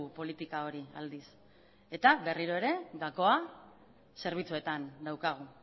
politika hori aldiz eta berriro ere gakoa zerbitzuetan daukagu